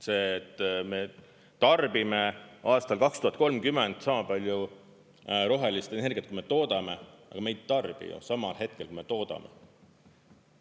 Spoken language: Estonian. See, et me tarbime aastal 2030 sama palju rohelist energiat, kui me toodame – aga me ei tarbi ju samal hetkel, kui me toodame.